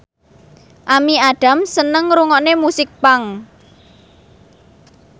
Amy Adams seneng ngrungokne musik punk